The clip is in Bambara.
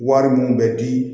Wari mun bɛ di